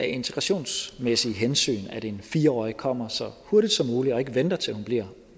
integrationsmæssige hensyn er fornuftigt at en fire årig kommer så hurtigt som muligt og ikke venter til hun bliver